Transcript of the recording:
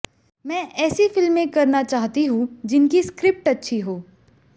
मैं ऐसी फिल्में करना चाहती हूं जिनकी स्क्रिप्ट अच्छी हो